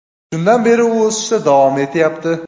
Shundan beri u o‘sishda davom etyapti.